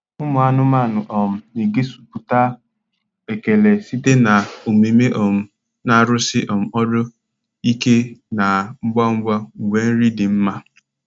Ụmụ anụmanụ um na-egosipụta ekele site na omume um na-arụsi um ọrụ ike na ngwa ngwa mgbe nri dị mma.